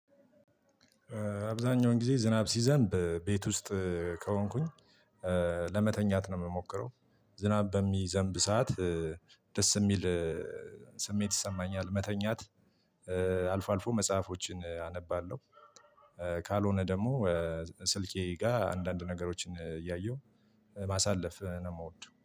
አብዛኛውን ጊዜ ዝናብ ሲዘንብ ቤት ውስጥ ከሆንኩኝ ለመተኛት ነው የምሞክረው። ዝናብ በሚዘንብ ሰዓት ደስ የሚል ስሜት ይሰማኛል። መተኛት አልፎ አልፎ መጽሐፎችን አነባለሁ። ካልሆነ ደግሞ። ስልኬ ጋር አንዳንድ ነገሮችን እያየሁ ማሳለፍ ነው የምወደው